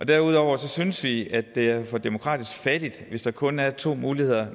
derudover synes vi at det er for demokratisk fattigt hvis der kun er to muligheder